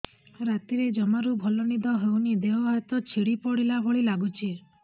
ରାତିରେ ଜମାରୁ ଭଲ ନିଦ ହଉନି ଦେହ ହାତ ଛିଡି ପଡିଲା ଭଳିଆ ଲାଗୁଚି